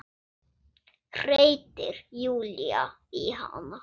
hreytir Júlía í hana.